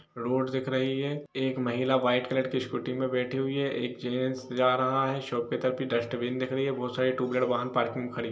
road दिख रही है एक महिला व्हाइट कलर की स्कूटी में बैठी हुई है एक जेंट्स जा रहा है शॉपकीपर की डस्टबिन दिख रही है बहुत सारे ट्व वीलर वाहन में खड़ी हुए पार्किंग में खड़ी --